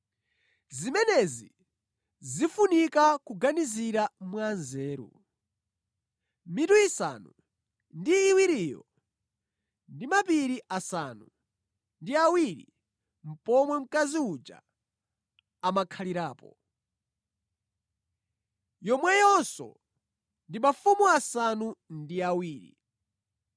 “Zimenezi zikufunika kuganizira mwanzeru. Mitu isanu ndi iwiriyo ndi mapiri asanu ndi awiri pomwe mkazi uja amakhalirapo. Yomweyonso ndi mafumu asanu ndi awiri.